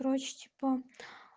короче типа